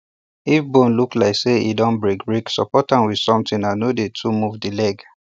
if bone look like say e don break break support am with something and no dey too move the leg